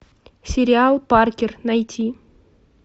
сериал паркер найти